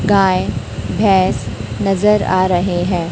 गाय भैंस नजर आ रहे हैं।